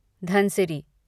Dhansiri